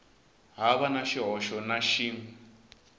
hava na xihoxo na xin